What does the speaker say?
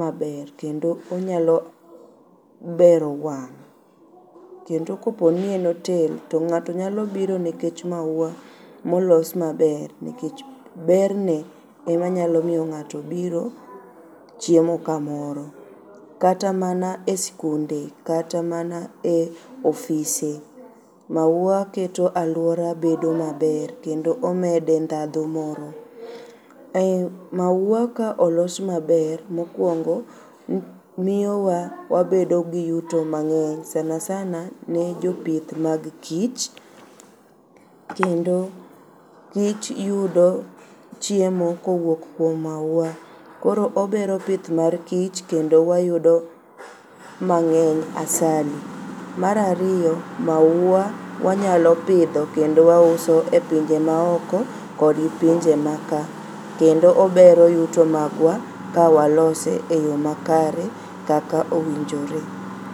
maber kendo onyalo bero wang'.Kendo koponi en otel ng'ato nyalo biro nekech maua molos maber nikech berne emanyalomiyo ng'ato biro chiemo kamoro kata mana e skunde kata mana ofise. Maua keto aluora bedo maber kendo omede ndhadhu moro. Ei maua ka olos maber mokuongo miyo wabedo gi yuto mang'eny sanasana ne jopith mag kich kendo giyudo chiemo kowuok kuom maua koro obero pith mar kich kendo wayudo mang'eny asali. Mar ariyo maua wanyalo pidho kendo wausoe pinje maoko kod pinje makaa kendo obero yuto magwa ka walose e yoo makare kaka owinjore.